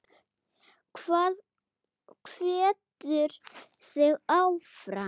Hvað hvetur þig áfram?